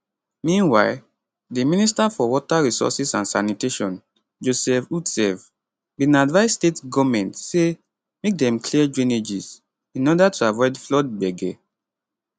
meanwhile di minister for water resources and sanitation joseph utsev bin advise state goment say make dem clear drainages in order to avoid flood gbege